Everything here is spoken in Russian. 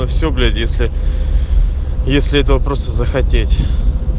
всё блять если если этого просто захотеть